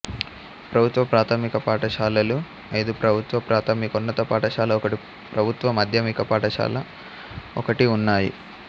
ప్రభుత్వ ప్రాథమిక పాఠశాలలు ఐదుప్రభుత్వ ప్రాథమికోన్నత పాఠశాల ఒకటి ప్రభుత్వ మాధ్యమిక పాఠశాల ఒకటి ఉన్నాయి